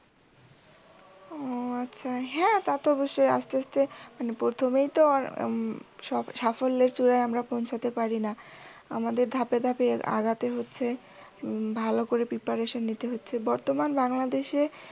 ও আচ্ছা। হ্যাঁ তা তো অবশ্যই। আস্তে আস্তে মানে প্রথমেই তো উম সাফল্যের চূড়ায় আমরা পৌঁছতে পারিনা। আমাদের ধাপে ধাপে এ আগাতে হচ্ছে উম ভালো করে preparation নিতে হচ্ছে। বর্তমান বাংলাদেশে